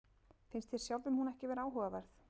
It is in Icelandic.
Finnst þér sjálfum hún ekki vera áhugaverð?